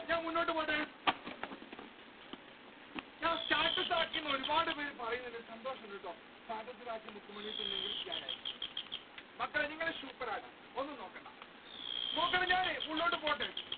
ഞാൻ മുന്നോട്ട് പോട്ടെ status ആക്കി എന്ന് ഒരുപാട് പേർ പറയുന്നുണ്ട് സന്തോഷമുണ്ട് കേട്ടോ മക്കളെ നിങ്ങൾ ശുയൂപരാട്ടോ.